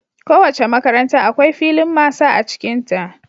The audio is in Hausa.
Kowace makaranta akwai filin masa a cikinta.